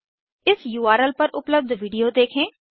इस उर्ल पर उपलब्ध वीडियो देखें